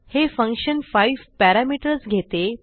हे function 5 parameters घेते